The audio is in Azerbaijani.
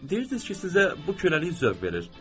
Deyirdiniz ki, sizə bu köləlik zövq verir.